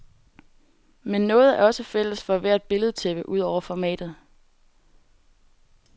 Men noget er også fælles for hvert billedtæppe, udover formatet.